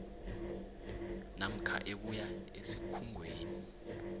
namkha ebuya esikhungweni